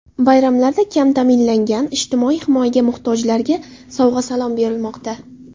Bayramlarda kam ta’minlangan, ijtimoiy himoyaga muhtojlarga sovg‘a-salom berilmoqda.